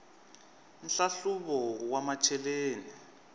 nhlahluvo wa macheleni